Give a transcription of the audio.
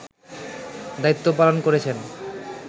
দায়িত্ব পালন করেছেন